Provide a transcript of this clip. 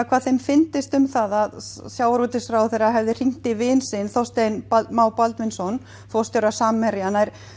hvað þeim fyndist um það að sjávarútvegsráðherra hefði hringt í vin sinn Þorstein Má Baldvinsson forstjóra Samherja